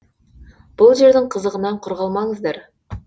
бұл жердің қызығынан құр қалмаңыздар